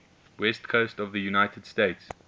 west coast of the united states